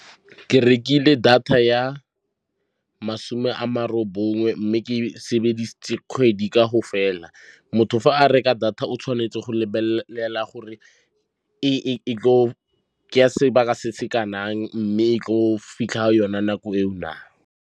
Ke rekile data ya masome a ma ronongwe mme ke sebedisitse kgwedi ka go fela. Motho fa a reka data o tshwanetse go lebelela fela ke ya sebaka se se kanang, mme e go fitlha ka yone nako eo na.